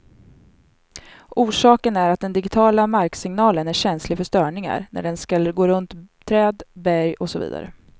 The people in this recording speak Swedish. Orsaken är att den digitiala marksignalen är känslig för störningar när den skall gå runt träd, berg och så vidare.